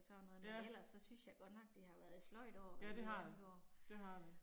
Sådan noget, men ellers så synes jeg godt nok det har været et sløjt år med det halve år